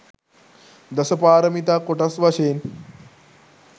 දසපාරමිතා කොටස් වශයෙන්